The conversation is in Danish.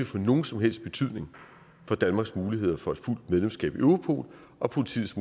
få nogen som helst betydning for danmarks muligheder for et fuldt medlemskab af europol og politiets